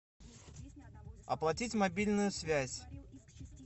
оплатить мобильную связь